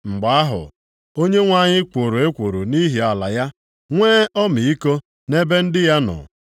Mgbe ahụ, Onyenwe anyị kworo ekworo nʼihi ala ya, nwee ọmịiko nʼebe ndị ya nọ.